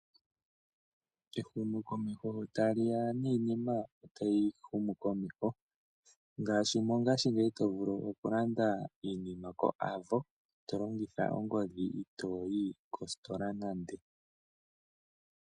Ehumokomesho sho tali ya niinima otayi humukomeho ngaashi mongashingeyi to vulu okulanda iinima koAvo to longitha ongodhi itooyi kositola nande.